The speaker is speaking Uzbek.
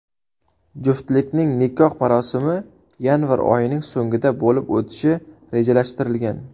Juftlikning nikoh marosimi yanvar oyining so‘nggida bo‘lib o‘tishi rejalashtirilgan.